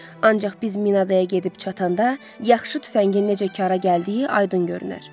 Ancaq biz Minadaya gedib çatanda, yaxşı tüfəngin necə kara gəldiyi aydın görünər.